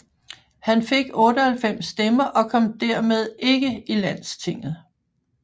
Han fik 98 stemmer og kom dermed ikke i Landstinget